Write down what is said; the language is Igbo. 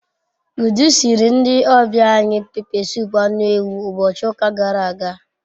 Udu siiri ndi obia anyi pepe sup anu ewu ubochi uka gara aga